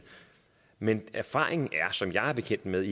men erfaringen er som jeg er bekendt med